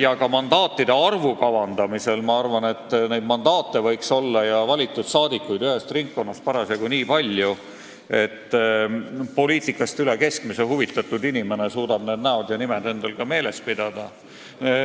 ja ka mandaatide arvu kavandamise kohta, et mandaate ja ühest ringkonnast valitud saadikuid võiks olla parasjagu nii palju, et poliitikast üle keskmise huvitatud inimene suudaks nende valitute näod ja nimed meeles pidada.